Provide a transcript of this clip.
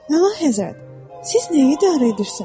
Möhtəşəm Həzrət, siz nəyi idarə edirsiniz?